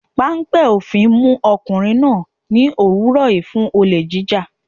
Páńpẹ́ òfin mú ọkùnrin náà ní òwúrọ̀ yìí fún olè jíjà.